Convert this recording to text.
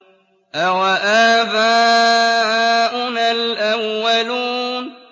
أَوَآبَاؤُنَا الْأَوَّلُونَ